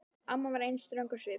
Amma var enn ströng á svip.